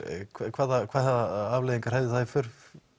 hvaða hvaða afleiðingar hefði það í för